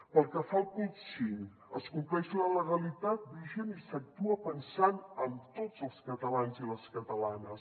pel que fa al punt cinc es compleix la legalitat vigent i s’actua pensant en tots els catalans i les catalanes